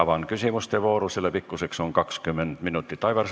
Avan küsimuste vooru, selle pikkus on 20 minutit.